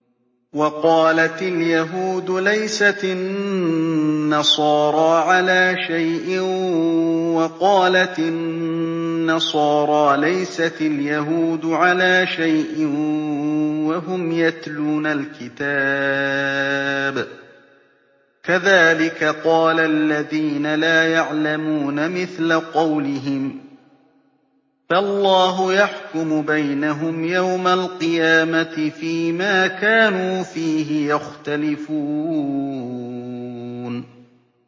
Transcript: وَقَالَتِ الْيَهُودُ لَيْسَتِ النَّصَارَىٰ عَلَىٰ شَيْءٍ وَقَالَتِ النَّصَارَىٰ لَيْسَتِ الْيَهُودُ عَلَىٰ شَيْءٍ وَهُمْ يَتْلُونَ الْكِتَابَ ۗ كَذَٰلِكَ قَالَ الَّذِينَ لَا يَعْلَمُونَ مِثْلَ قَوْلِهِمْ ۚ فَاللَّهُ يَحْكُمُ بَيْنَهُمْ يَوْمَ الْقِيَامَةِ فِيمَا كَانُوا فِيهِ يَخْتَلِفُونَ